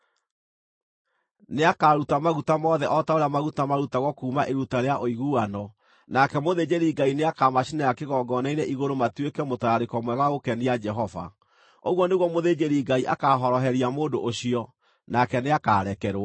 Nĩakaruta maguta mothe o ta ũrĩa maguta marutagwo kuuma iruta rĩa ũiguano, nake mũthĩnjĩri-Ngai nĩakamacinĩra kĩgongona-inĩ igũrũ matuĩke mũtararĩko mwega wa gũkenia Jehova. Ũguo nĩguo mũthĩnjĩri-Ngai akaahoroheria mũndũ ũcio, nake nĩakarekerwo.